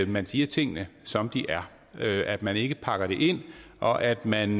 man siger tingene som de er at man ikke pakker dem ind og at man